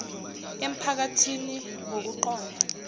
empha kathini ngokuqonda